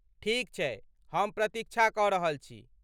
ठीक छै , हम प्रतीक्षा कऽ रहल छी।